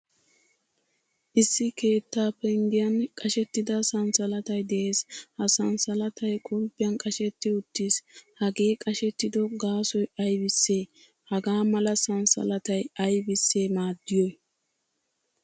Issi keettaa penggiyan qashshettida sanssalattay de'ees. Ha sanssalatay qulppiyan qashshetti uttiis. Hagee qashshettido gaasoy aybise? Hagaa mala sanssalatay aybise maaddiyoy?